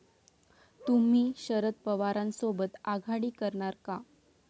तुम्ही शरद पवारांसोबत आघाडी करणार का?